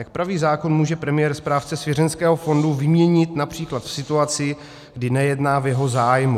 Jak praví zákon, může premiér správce svěřenského fondu vyměnit například v situaci, kdy nejedná v jeho zájmu.